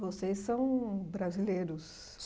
Vocês são brasileiros?